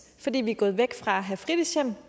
fordi vi er gået væk fra at have fritidshjem